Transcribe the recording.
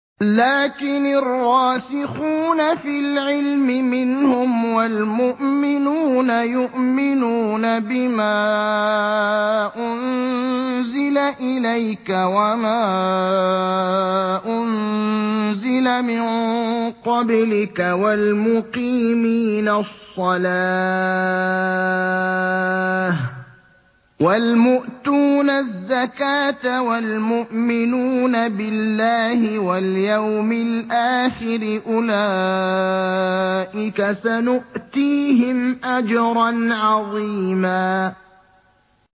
لَّٰكِنِ الرَّاسِخُونَ فِي الْعِلْمِ مِنْهُمْ وَالْمُؤْمِنُونَ يُؤْمِنُونَ بِمَا أُنزِلَ إِلَيْكَ وَمَا أُنزِلَ مِن قَبْلِكَ ۚ وَالْمُقِيمِينَ الصَّلَاةَ ۚ وَالْمُؤْتُونَ الزَّكَاةَ وَالْمُؤْمِنُونَ بِاللَّهِ وَالْيَوْمِ الْآخِرِ أُولَٰئِكَ سَنُؤْتِيهِمْ أَجْرًا عَظِيمًا